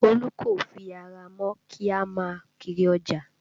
Olu kò fi ara mọ́ kí a má a kiri ọjà